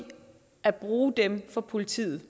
at bruge dem for politiet